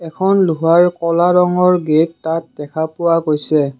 এখন লোহাৰ কলা ৰঙৰ গেট তাত দেখা পোৱা গৈছে।